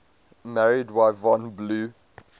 married yvonne blue